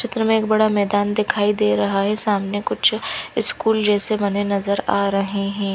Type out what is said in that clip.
चित्र में एक बड़ा मैदान दिखाई दे रहा है सामने कुछ स्कूल जेसे बने नज़र आ रहे है।